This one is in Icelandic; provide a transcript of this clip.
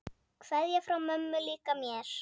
Kveðja frá mömmu líka mér.